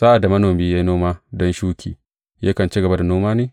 Sa’ad da manomi ya yi noma don shuki, yakan ci gaba da noma ne?